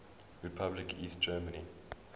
republic east germany